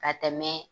Ka tɛmɛ